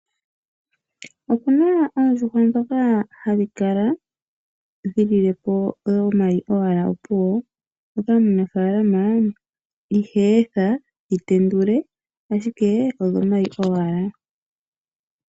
Opu na oondjuhwa ndhoka dhokuvala owala omayi ndhoka omunafaalama ihaa etha dhi tendule, ashike odhomayi owala.